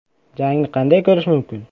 Jangni qanday ko‘rish mumkin?.